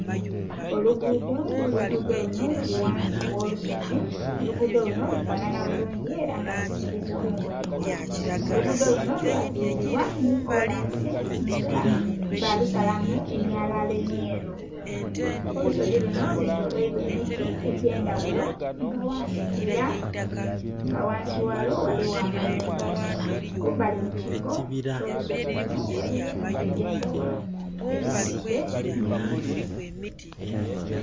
Oluguudo nga oluguudo lunho luli ghansi gh'olusozi, oluguudo lunho lufanana bulungi era nga lusikiliza omubonhi, olugudho lunho lwa zimbibwa nhi kolansi nga balusalamu emyalaala emmyeru. Olusozi lunho lwe toloirwa emiti egy'endhaghulo ela nga ghansi ghalwo ghaligho amayumba. Kumbali mu kiiko ky'olusozi lunho ghaligho enhumba edh'endhaghulo, ebisimbe nh'emiti.